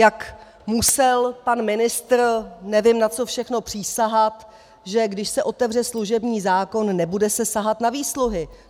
Jak musel pan ministr nevím na co všechno přísahat, že když se otevře služební zákon, nebude se sahat na výsluhy.